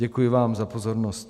Děkuji vám za pozornost.